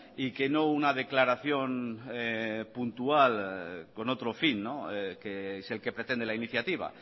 y que no una declaración puntual con otro fin que es el que pretende la iniciativa